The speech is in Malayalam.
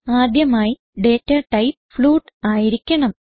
ആദ്യമായി ഡേറ്റ ടൈപ്പ് ഫ്ലോട്ട് ആയിരിക്കണം